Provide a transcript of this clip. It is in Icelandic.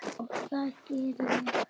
Og það geri ég.